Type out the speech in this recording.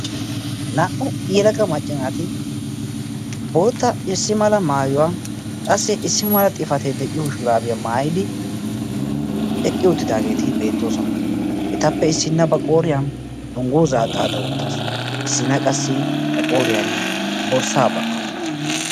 naa77u yelaga maccinaati bootta issi mala maayuwaa qassi issi mala xifatee de7iyo shiraabiyaa maayidi eqqi uuttidaageeti beettoosona etappe issinna ba qooriyan tonggo zaa xaaxa wottaasu issinna qassi ba qooriyan borssaa ba77a uttasu